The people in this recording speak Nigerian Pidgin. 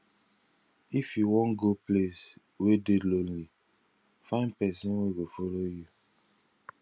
if you wan go place wey dey lonely find pesin wey go follow you